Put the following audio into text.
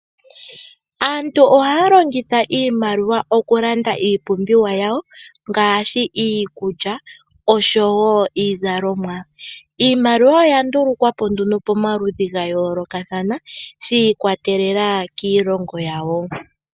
Aantu ohaya longitha iimaliwa oku landa iipumbiwa yawo ngaashi: iikulya osho woo iizalomwa. Iimaliwa oya ndulukwa po nduno pamaludhi ga yoolokathana shi i kwatelela kiilongo yawo.